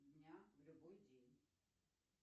дня в любой день